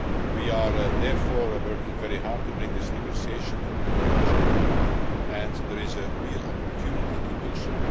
We are therefore working very hard to bring this negotiation to a conclusion and there is a real opportunity to do so.